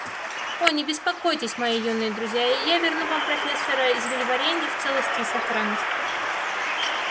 о не беспокойтесь мои юные друзья я верну вам профессора зельеварения в целости и сохранности